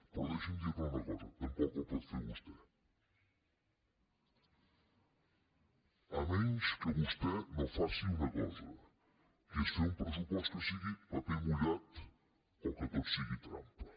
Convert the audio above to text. però deixi’m dir li una cosa tampoc el pot fer vostè si no és que vostè no fa una cosa que és fer un pressupost que sigui paper mullat o en què tot sigui trampa